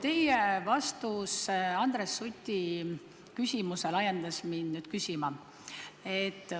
Teie vastus Andres Suti küsimusele ajendas mindki küsima.